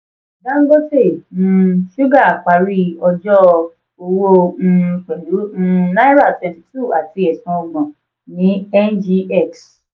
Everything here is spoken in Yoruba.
dangote um suga parí ọjọ́ owó um pẹ̀lú um náírà cs] twenty two àti ẹ̀sún ọgbọ́n ní ngx.